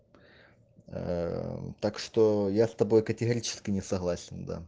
так что я с тобой категорически не согласен